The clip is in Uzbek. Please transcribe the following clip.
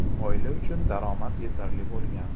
Oila uchun daromad yetarli bo‘lgan.